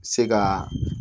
Se ka